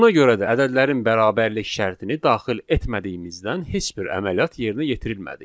Buna görə də ədədlərin bərabərlik şərtini daxil etmədiyimizdən heç bir əməliyyat yerinə yetirilmədi.